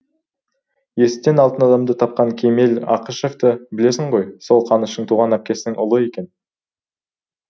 есіктен алтын адамды тапқан кемел ақышевты білесің ғой сол қаныштың туған әпкесінің ұлы екен